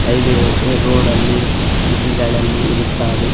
Highway road ಅಲ್ಲಿ city ಗಳಲ್ಲಿ ಇರುತ್ತಾವೆ .